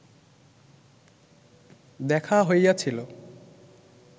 দেখা হইয়াছিল